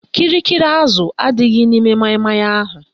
Kịrịkịrị azụ adịghị n'ime maịmaị ahụ